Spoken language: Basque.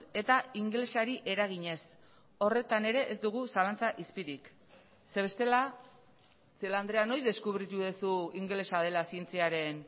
eta ingelesari eraginez horretan ere ez dugu zalantza izpirik ze bestela celaá andrea noiz deskubritu duzu ingelesa dela zientziaren